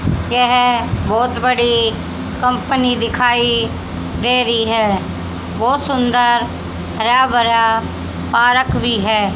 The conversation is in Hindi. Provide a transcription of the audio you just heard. यह बहुत बड़ी कंपनी दिखाई दे रही है बहुत सुंदर हरा भरा पारक भी है।